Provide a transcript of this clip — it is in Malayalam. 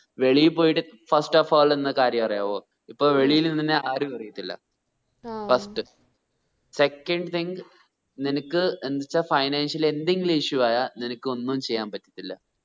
വെളിയിൽ പോയിട്ട് first of all എന്ന കാര്യം അറിയാവോ ഇപ്പോ വെളിയിൽ നിന്നെ ആരും അറിയത്തില് ആഹ് first second thing നിനക്ക് എന്ത് വെച്ച financially എന്തെങ്കിലും issue ആയാ നിനക്ക് ഒന്നും ചെയ്യാൻ പറ്റത്തില്ല